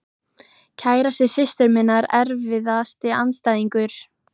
Kærasti systur minnar Erfiðasti andstæðingur?